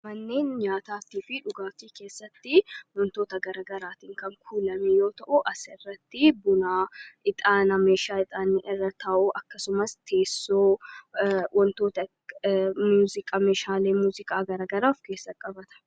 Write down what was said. amanneen nyaataaftii fi dhugaaftii keessatti wantoota garagaraatiin kan kuulame yoo ta'u as irratti bunaa ixaanaa meeshaa ixaanii irra ta'uu akkasumas teessoo wantoota muuzikaa meeshaalee muuzikaa garagaraaf keessa qabata